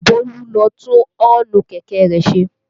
Bólú lọ tún ọ́ǹnù kẹ̀kẹ́ rẹ̀ ṣe